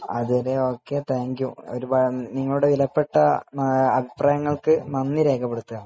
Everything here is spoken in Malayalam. അത് വരെ ഓക്കെ, താങ്ക് യു നിങ്ങളുടെ വിലപ്പെട്ട അഭിപ്രായങ്ങൾക്ക് നന്ദി രേഖപ്പെടുത്തുകയാണ്